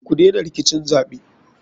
Kudena rikicin zaɓe.